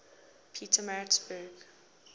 pietermaritzburg